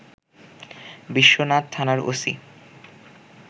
বিশ্বনাথ থানার ওসি